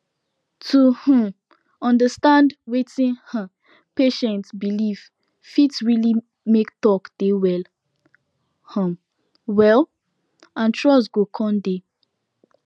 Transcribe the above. to um understand wetin um patient believe fit really make talk dey well um wel and trust go coun dey